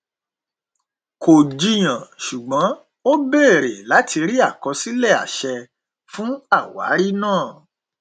kò jiyàn ṣùgbọn ó bèrè láti rí àkọsílẹ àṣẹ fún àwárí náà